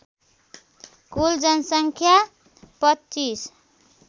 कुल जनसङ्ख्या २५